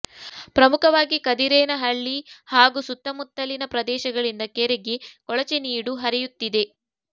ಪ್ರಮುಖವಾಗಿ ಕದಿರೇನಹಳ್ಳಿ ಹಾಗೂ ಸುತ್ತಮುತ್ತಲಿನ ಪ್ರದೇಶಗಳಿಂದ ಕೆರೆಗೆ ಕೊಳಚೆ ನೀಡು ಹರಿಯುತ್ತಿದೆ